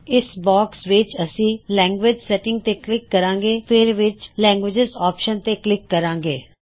ਇਸ ਬਾਕਸ ਵਿੱਚ ਅਸੀਂ ਲੈਂਗਗ੍ਵਿਜ ਸੈਟਿੰਗਜ਼ ਤੇ ਕਲਿੱਕ ਕਰਾਂਗੇ ਫੇਰ ਵਿੱਚ ਲੈਂਗਗ੍ਵਿਜਿਜ਼ ਆਪਸ਼ਨ ਤੇ ਕਲਿੱਕ ਕਰਾਂਗੇ